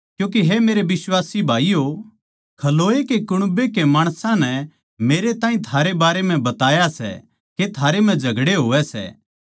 क्यूँके हे मेरे बिश्वासी भाईयो खलोए के कुण्बे के माणसां नै मेरै ताहीं थारै बारै म्ह बताया सै के थारै म्ह झगड़ें होवै सै